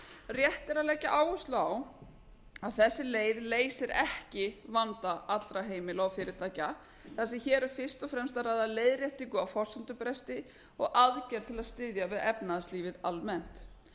rétt er að leggja áherslu á að þessi leið leysir ekki vanda allra heimila og fyrirtækja af því hér er fyrst að ræða leiðréttingu á forsendubresti og aðgerð til að styðja við efnahagslífið almennt